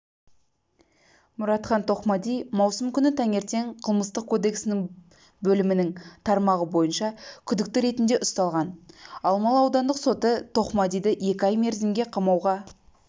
мұратхан тоқмади маусым күні таңертең қылмыстық кодекстің бөлімінің тармағы бойынша күдікті ретінде ұсталған алмалы аудандық соты тоқмадиді екі ай мерзімге қамауға